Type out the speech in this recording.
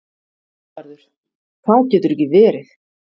JÁTVARÐUR: Það getur ekki verið.